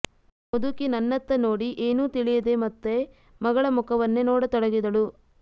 ಮುದುಕಿ ನನ್ನತ್ತ ನೋಡಿ ಏನೂ ತಿಳಿಯದೆ ಮತ್ತೆ ಮಗಳ ಮುಖವನ್ನೇ ನೋಡತೊಡಗಿದಳು